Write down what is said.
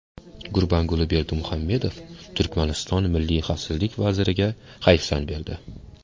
Gurbanguli Berdimuhamedov Turkmaniston milliy xavfsizlik vaziriga hayfsan berdi.